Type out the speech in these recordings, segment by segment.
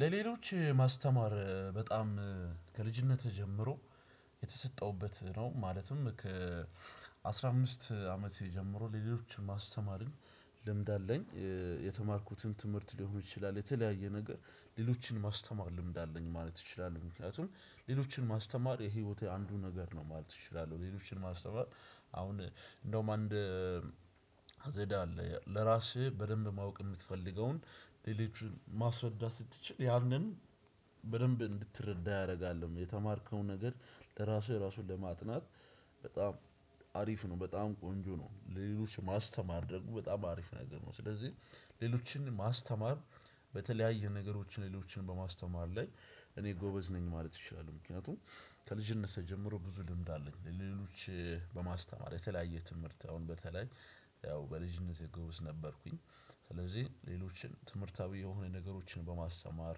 ለሌሎች ማስተማር በጣም ከልጅነቴ ጀምሮ የተሰጠውበት ነው። ማለትም ከ አስራ አምስት አመት ጀምሮ ለሌሎች ማስተማሪን ልምድ አለኝ። የተማርኩትን ትምህርት ሊሆን ይችላል የተለያየ ነገር ሌሎችን ማስተማር ልምድ አለኝ ማለት እችላለሁ ምክንያቱም ሌሎችን ማስተማር የህይወቴ አንዱ ነገር ነው ማለት እችላለሁ። ሌሎችን ማስተማር አሁን እንደውም አንድ አዘዳ አለ ለራስህ በደንብ ማወቅ የምትፈልገውን ሌሎቹን ማስረዳት ስትችል ያንን በደንብ እንድትረዳ ያደርጋልም የተማርከው ነገር ለራስህ እራሱ ለማጥናት በጣም አሪፍ ነው። በጣም ቆንጆ ነው ለሎች ማስተማር ደግሞ በጣም አሪፍ ነገር ነው። ስለዚህ ሌሎችን ማስተማር በተለያየ ነገሮችን ሌሎችን በማስተማር ላይ እኔ ጎበዝ ነኝ ማለት እችላለሁ። ምክንያቱም ከልጅነቴ ጀምሮ ብዙ ልምድ አለኝ። ለሌሎች በማስተማር የተለያየ ትምህርት አሁን በተለይ ያው በልጅነቴ ግብዝ ነበርኩኝ። ስለዚህ ሌሎችን ትምህርታዊ የሆነ ነገሮችን በማስተማር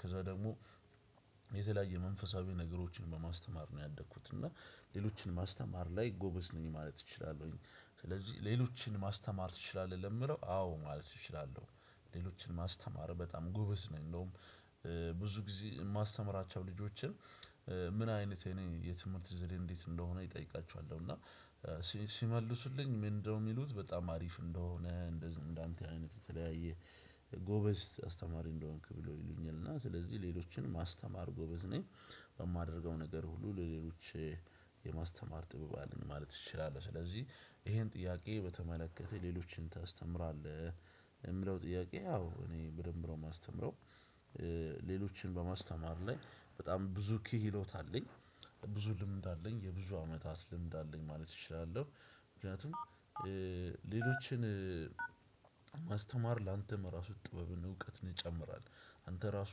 ከዛ ደግሞ የተለያየ መንፈሳዊ ነገሮችን በማስተማር ነው ያደግኩት እና ሌሎችን ማስተማር ላይ ጎበዝ ነኝ ማለት እችላለሁ። ስለዚህ ሌሎችን ማስተማር ትችላለህ ለሚለው አዎ ማለት እችላለሁ። ሌሎችን ማስተማር በጣም ጎበዝ ነኝ እንደውም ብዙ ጊዜ የማስተምራቸው ልጆችን ምን አይነት የኔ የትምህርት ዘዴ እንዴት እንደሆነ እጠይቃችኋለሁ። እና ሲመልሱልኝ ምንድነው የሚሉት በጣም አሪፍ እንደሆነ እንደዚህ እንደአንተ አይነት የተለያየ ጎበዝ አስተማሪ እንደሆንክ ብሎ ይሉኛል እና ስለዚህ ሌሎችን ማስተማር ጎበዝ ነኝ። በማደርገው ነገር ሁሉ ለሌሎች የማስተማር ጥበብ አለኝ ማለት ትችላለህ። ስለዚህ ይሄን ጥያቄ በተመለከተ ሌሎችን ታስተምራለህ የምለው ጥያቄ አው እኔ በደምብ ነው የማስተምረው። ሌሎችን በማስተማር ላይ በጣም ብዙ ክህሎት አለኝ ብዙ ልምድ አለኝ የብዙ አመታት ልምድ አለኝ ማለት እችላለሁ። ምክንያቱም ሌሎችን ማስተማር ላንተም እራሱ ጥበብን እውቀትን ይጨምራል። አንተ እራሱ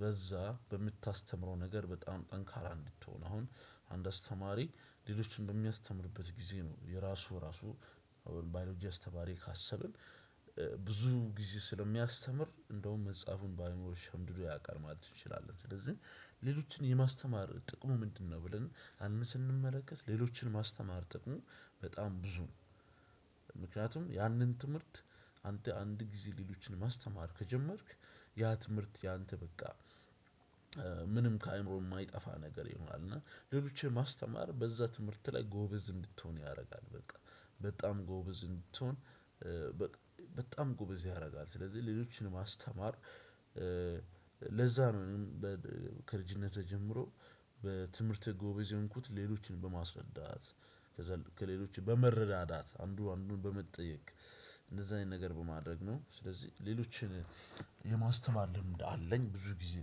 በዛ በምታስተምረው ነገር በጣም ጠንካራ እንድትሆን አሁን አንድ አስተማሪ ሌሎችን በሚያስተምርበት ግዜ ነው የራሱ እራሱ ባዮሎጂ አስተማሪ ካሰብን ብዙ ግዜ ስለሚያስተምር እንደውም መሕፃፋን በአእምሮ ሸምድዶ ያውቃል ማለት ትችላለህ። ስለዚህ ሌሎችን የማስተማር ጥቅሙ ምንድ ነው? ብለን ስንመለከት ሌሎችን ማስተማር ጥቅሙ በጣም ብዙ ነው። ምክንያቱም ያንን ትምህርት አንተ አንድ ግዜ ሌሎችን ማስተማር ከጀመርክ ያ ትምህርት ያንተ በቃ ምንም ከአእምሮ የማይጠፋ ነገር ይሆናል። እና ሌሎችን ማስተማር በዛ ትምህርት ላይ ጎበዝ እንድትሆን ያደርጋል በጣም በጣም ጎበዝ እንድትሆን በጣም ጎበዝ ያደርጋል። ስለዚህ ሌሎችን ማስተማር ለዛ ነው እኔም ከልጅነቴ ጀምሮ በትምህርቴ ጎበዝ የሆንኩት ሌሎችን በማስረዳት። ከሌሎች በመረዳት አንዱ አንዱን በመጠየቅ እንደዛ አይነት ነገር በማድረግ ነው። ስለዚህ ሌሎችን የማስተማር ልምድ አለኝ ብዙ ግዜ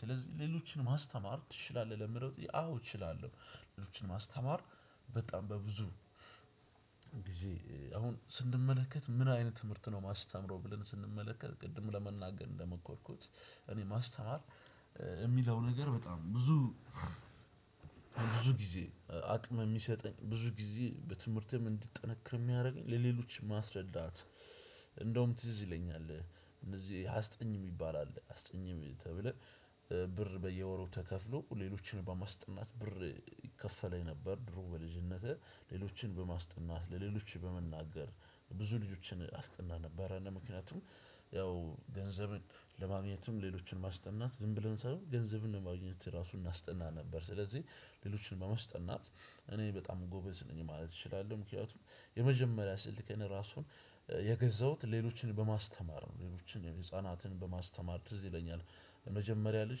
ስለዚህ ሌሎችን ማስተማር ትችላለህ ለሚለው ጥያቄ አው እችላለው። ጊዜ አሁን ስንመለከት ምን አይነት ትምህርት ነው ማስተምረው ብለን ስንመለከት ቅድም ለመናገር እንደመኮርኩት እኔ ማስተማር የሚለው ነገር በጣም ብዙ ብዙ ጊዜ አቅም የሚሰጠኝ ብዙ ጊዜ በትምህርቴም እንዲጠነክር የሚያደርገኝ ለሌሎች ማስረዳት። እንደውም ትዝ ይለኛል እንደዚህ አስጠኝ የሚባል አለ አስጠኝ ተብለህ ብር በየወሩ ተከፍሎ ሌሎችን በማስጠናት ብር ይከፈለኝ ነበር። ድሮ በልጅነቴ ሌሎችን በማስጠናት ለሌሎች በመናገር ብዙ ልጆችን አስጥና ነበረ ምክንያቱም ያው ገንዘብን ለማግኘትም ሌሎችን ማስጠናት ዝም ብለን ሳይሆን ገንዘብን ለማግኘት እራሱ እናስጠና ነበር። ስለዚህ ሌሎችን በማስጠት እኔ በጣም ጎበዝ ነኝ ማለት እችላለሁ። ምክንያቱም የመጀመሪያ ስልኬን ራሱን የገዛሁት ሌሎችን በማስተማር ነው። ሌሎችን ህፃናትን በማስተማር ትዝ ይለኛል። የመጀመሪያ ልጅ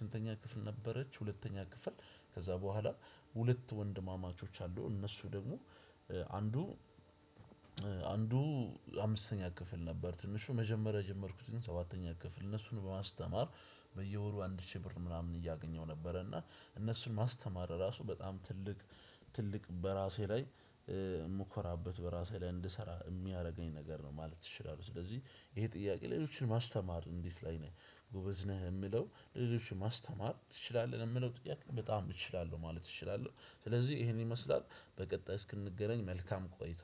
ስንተኛ ክፍል ነበረች ሁለተኛ ክፍል ከዛ በኋላ ሁለት ወንድማማቾች አሉ እነሱ ደግሞ አንዱ አንዱ አምስተኛ ክፍል ነበር ትንሹ መጀመሪያ የጀመርኩትን ሰባተኛ ክፍል እነሱን በማስተማር በየወሩ አንድ ሺህ ብር ምናምን እያገኘው ነበረ። እና እነሱን ማስተማር ራሱ በጣም ትልቅ ትልቅ በራሴ ላይ የምኮራበት በራሴ ላይ እንድሰራ የሚያደርገኝ ነገር ነው ማለት እችላለው። ስለዚህ ይሄ ጥያቄ ሌሎችን ማስተማር እንዴት ላይ ነህ? ጎበዝ ነህ የምለው ሌሎችን ማስተማር ትችላለህ ለሚለው ጥያቄ በጣም እችላለሁ ማለት እችላለሁ። ስለዚህ ይሄንን ይመስላል በቀጣይ እስክንገናኝ መልካም ቆይታ።